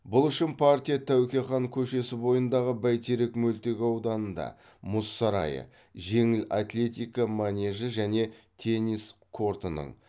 бұл үшін партия тәуке хан көшесі бойындағы байтерек мөлтек ауданында мұз сарайы жеңіл атлетика манежі және теннис кортының